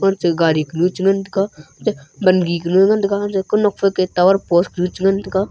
ancha gari ku nu chan ngan taiga bagi kunu ngan taiga ku nur phe post chan ngan taiga.